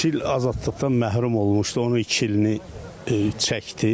Üç il azadlıqdan məhrum olmuşdu, onun iki ilini çəkdi.